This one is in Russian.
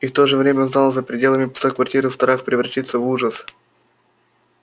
и в то же время знал за пределами пустой квартиры страх превратится в ужас